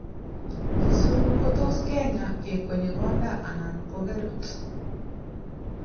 chesuru kotos kenya ,kekwenyi konda ana kogerut.